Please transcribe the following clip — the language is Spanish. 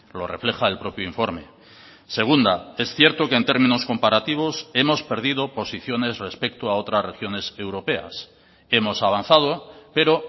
lo refleja el propio informe segunda es cierto que en términos comparativos hemos perdido posiciones respecto a otras regiones europeas hemos avanzado pero